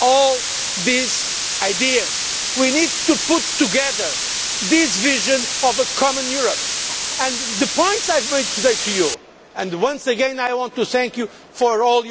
all these ideas. We need to put together this vision of a common Europe and the points I have made today to you and once again I want to thank you for all